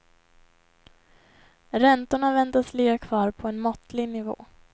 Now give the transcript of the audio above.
Räntorna väntas ligga kvar på en måttlig nivå.